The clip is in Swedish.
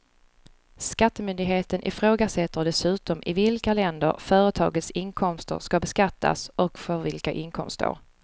Skattemyndigheten ifrågasätter dessutom i vilka länder företagets inkomster ska beskattas och för vilka inkomstår.